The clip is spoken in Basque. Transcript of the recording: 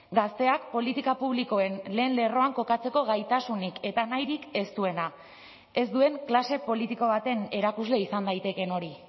gazteak politika publikoen lehen lerroan kokatzeko gaitasunik eta nahirik ez duena ez duen klase politiko baten erakusle izan daitekeen hori